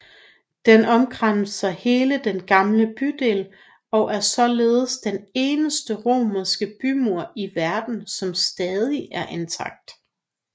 Den omkranser hele den gamle bydel og er således den eneste romerske bymur i verden der stadig er intakt